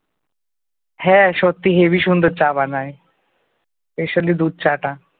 হ্যাঁ সত্যি heavy সুন্দর চা বানাই special লি দুধ চা টা ।